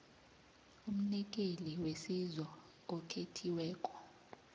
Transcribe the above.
umnikeli wesizo okhethiweko